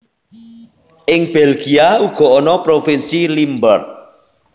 Ing Belgia uga ana provinsi Limburg